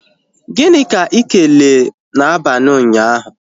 Gịnị ka ị kelee na abalị ụnyaahụ?